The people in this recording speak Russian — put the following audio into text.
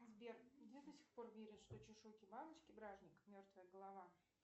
сбер где до сих пор верят что чешуйки бабочки бражник мертвая голова